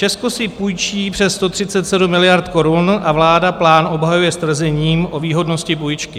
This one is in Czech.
"Česko si půjčí přes 137 miliard korun a vláda plán obhajuje s tvrzením o výhodnosti půjčky.